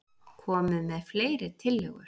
Komið með fleiri tillögur.